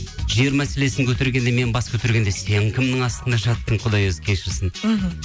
жер мәселесін көтергенде мен бас көтергенде сен кімнің астында жаттың құдай өзі кешірсін мхм